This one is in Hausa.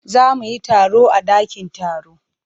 Za mu yi taro a dakin taro.